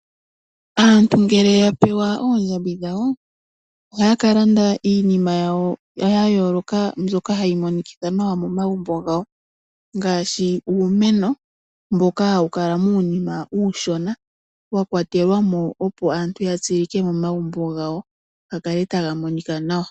Aantu ngele yapewa oondjabi dhawo ohaya kalanda iinima yawo ya yooloka, mbyoka hayi monikitha nawa momagumbo gawo ngaashi uumeno mboka hawu kala muunima uushona wa kwatelwamo, opo aantu ya tseyike momagumbo gawo gakale taga monika nawa.